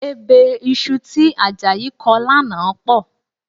Ebè iṣu tí Àjàyí kọ lánàá pọ̀